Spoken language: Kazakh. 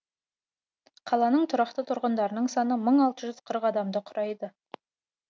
қаланың тұрақты тұрғындарының саны мың алты жүз қырық адамды құрайды